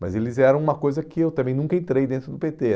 Mas eles eram uma coisa que eu também nunca entrei dentro do pê tê